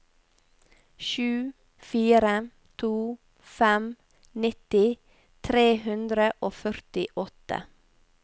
sju fire to fem nitti tre hundre og førtiåtte